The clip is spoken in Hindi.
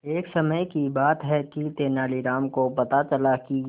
एक समय की बात है कि तेनालीराम को पता चला कि